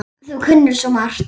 Þú kunnir svo margt.